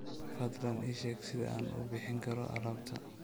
fadlan ii sheeg sida aan u bixin karo alaabta